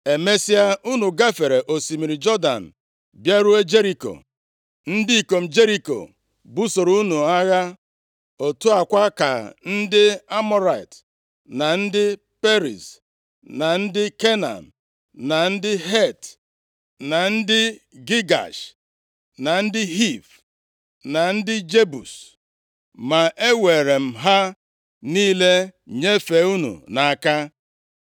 “ ‘Emesịa, unu gafere osimiri Jọdan bịaruo Jeriko. Ndị ikom Jeriko busoro unu agha, otu a kwa ka ndị Amọrait, na ndị Periz, na ndị Kenan, na ndị Het, na ndị Gigash, na ndị Hiv, na ndị Jebus. Ma eweere m ha niile nyefee unu nʼaka.